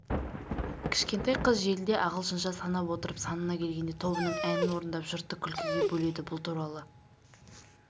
кішкентай қыз желіде ағылшынша санап отырып санына келгенде тобының әнін орындап жұртты күлкіге бөледі бұл туралы